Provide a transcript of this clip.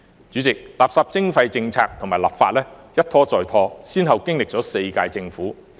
主席，垃圾徵費政策和立法一拖再拖，先後經歷了4屆政府。